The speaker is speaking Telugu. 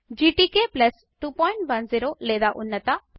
GTK 210 లేదా ఉన్నత